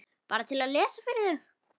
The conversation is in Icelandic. Bara til að lesa fyrir þau.